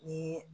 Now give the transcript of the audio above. Ni